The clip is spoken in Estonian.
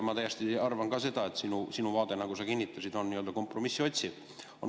Ma arvan ka seda, et sinu vaade, nagu sa kinnitasid, on kompromissi otsiv.